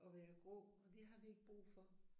Og være grå og det har vi ikke brug for